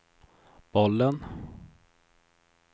bollen